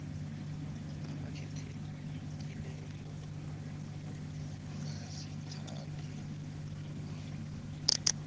abakhethekileko ngokungazithandeli kuye